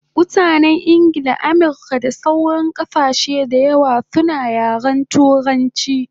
Mutanen Ingla, Amirka da sauran kasashe dayawa suna yaren turanchi